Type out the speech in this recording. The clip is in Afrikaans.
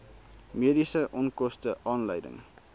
mediese onkoste aanleiding